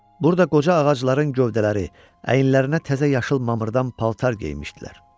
Burda qoca ağacların gövdələri əyinlərinə təzə yaşıl mamırdan paltar geymişdilər.